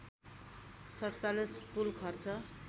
४७ कूल खर्च